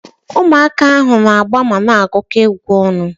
Ụmụaka ahu na-agba mana agukọ egwu ọnụ